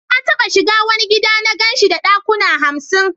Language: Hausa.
Na taba shiga wani gida na gan shi da dakuna hamsin.